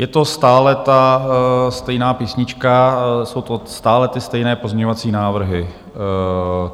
Je to stále ta stejná písnička, jsou to stále ty stejné pozměňovací návrhy.